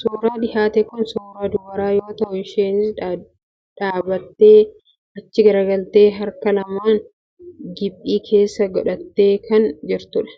Suuraan dhiyaate kun suuraa dubaraa yoo ta'u, isheenis dhaabatee, achi garagaltee, harka lamaan giphii keessa godhattee kan jirtudha.